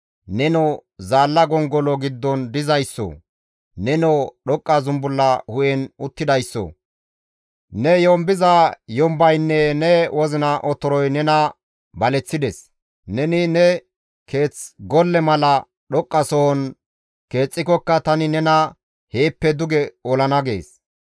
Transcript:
Nenoo zaalla gongolo giddon dizayssoo! Nenoo dhoqqa zumbulla hu7en uttidayssoo! Ne yombiza yombaynne ne wozina otoroy nena baleththides; neni ne keeth golle mala dhoqqasohon keexxikokka tani nena heeppe duge olana» gees.